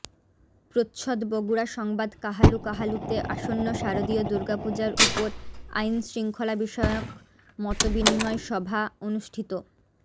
প্রচ্ছদ বগুড়া সংবাদ কাহালু কাহালুতে আসন্ন শারদীয় দূর্গাপূজার উপর আইন শৃংখলা বিষয়ক মতবিনিময় সভা অনুষ্ঠিত